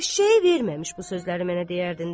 Eşşəyi verməmiş bu sözləri mənə deyərdin də?